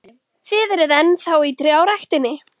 Þið eruð enn þá í trjáræktinni?